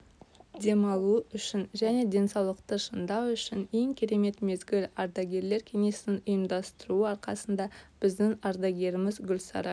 демалу үшін және денсаулықты шыңдау үшін ең керемет мезгіл ардагерлер кеңесінің ұйымдастыруы арқасында біздің ардагеріміз гульсара